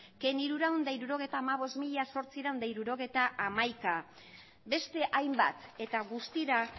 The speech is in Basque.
hirurehun eta hirurogeita hamabost mila zortziehun eta hirurogeita hamaika beste hainbat eta guztira